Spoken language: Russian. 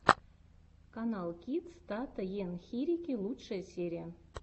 каналкидс тата ен хирики лучшая серия